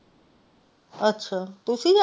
ਅੱਛਾ ਤੁਸੀ ਜਾਣਾ।